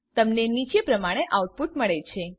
તમને નીચે પ્રમાણે આઉટપુટ મળે છે